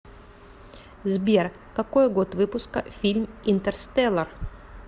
сбер какой год выпуска фильм интерстеллар